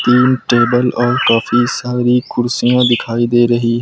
तीन टेबल और काफी सारी कुर्सियां दिखाई दे रही--